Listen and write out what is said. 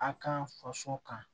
A ka kan faso kan